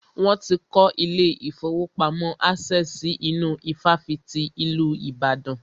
Wọ́n ti kọ́ ilé ìfọwọ́pamo Access si inú ifáfitì ìlú Ìbàdàn.